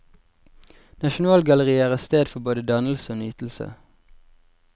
Nasjonalgalleriet er et sted for både dannelse og nytelse.